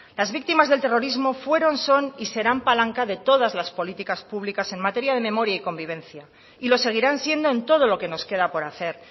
las víctimas del terrorismo fueron son y serán palanca de todas las políticas públicas en materia de memoria y convivencia y lo seguirán siendo en todo lo que nos queda por hacer